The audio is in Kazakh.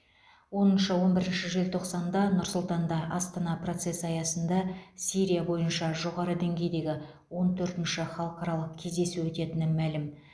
оныншы он бірінші желтоқсанда нұр сұлтанда астана процесі аясында сирия бойынша жоғары деңгейдегі он төртінші халықаралық кездесу өтетіні мәлім